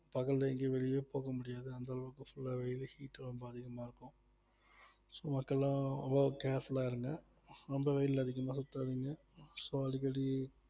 பகல்ல எங்கயும் வெளிய போக முடியாது அந்த அளவுக்கு full ஆ வெயில் heat ரொம்ப அதிகமா இருக்கும் so மக்கள் எல்லாம் ரொம்ப careful ஆ இருங்க ரொம்ப வெயில்ல அதிகமா சுத்தாதீங்க so அடிக்கடி